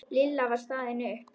Lilla var staðin upp.